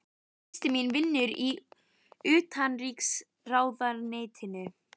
Systir mín vinnur í Utanríkisráðuneytinu.